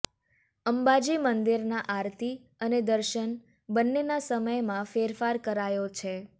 અંબાજી મંદિરના આરતી અને દર્શન બંનેના સમયમાં ફેરફાર કરાયો છે